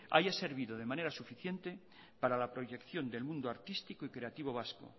haya servido de manera suficiente para la proyección del mundo artístico y creativo vasco